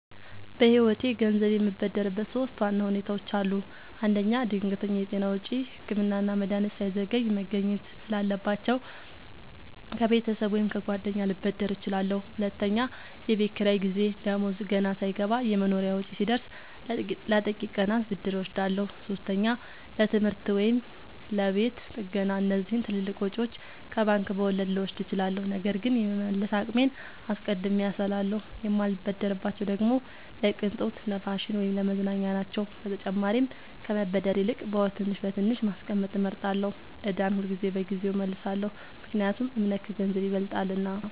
በህይወቴ ገንዘብ የምበደርበት ሶስት ዋና ሁኔታዎች አሉ። አንደኛ፣ ድንገተኛ የጤና ወጪ – ህክምና እና መድሀኒት ሳይዘገይ መገኘት ስላለባቸው፣ ከቤተሰብ ወይም ከጓደኛ ልበደር እችላለሁ። ሁለተኛ፣ የቤት ኪራይ ጊዜ – ደሞዝ ገና ሳይገባ የመኖሪያ ወጪ ሲደርስ፣ ለጥቂት ቀናት ብድር እወስዳለሁ። ሶስተኛ፣ ለትምህርት ወይም ለቤት ጥገና – እነዚህን ትልልቅ ወጪዎች ከባንክ በወለድ ልወስድ እችላለሁ፣ ነገር ግን የመመለስ አቅሜን አስቀድሜ አስላለሁ። የማልበደርባቸው ደግሞ ለቅንጦት፣ ለፋሽን ወይም ለመዝናኛ ናቸው። በተጨማሪም ከመበደር ይልቅ በወር ትንሽ በትንሽ ማስቀመጥ እመርጣለሁ። ዕዳን ሁልጊዜ በጊዜው እመልሳለሁ – ምክንያቱም እምነት ከገንዘብ ይበልጣልና።